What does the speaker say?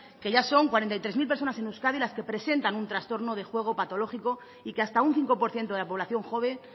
que ya son cuarenta y tres mil personas en euskadi las que presentan un trastorno de juego patológico y que hasta un cinco por ciento de la población joven